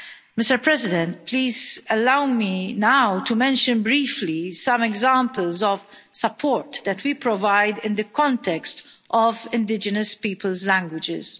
Mr President, please allow me now to mention briefly some examples of support that we provide in the context of indigenous peoples' languages.